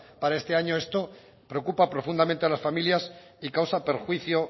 para este año esto preocupa profundamente a las familias y causa perjuicio